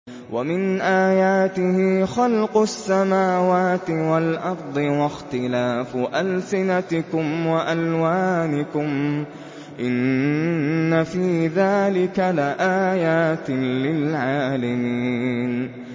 وَمِنْ آيَاتِهِ خَلْقُ السَّمَاوَاتِ وَالْأَرْضِ وَاخْتِلَافُ أَلْسِنَتِكُمْ وَأَلْوَانِكُمْ ۚ إِنَّ فِي ذَٰلِكَ لَآيَاتٍ لِّلْعَالِمِينَ